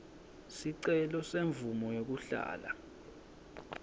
sicelo semvumo yekuhlala